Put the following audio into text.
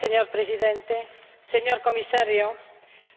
Señor Presidente, señor Comisario,